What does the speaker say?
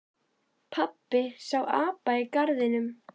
Pabbi sá apa í garðinum.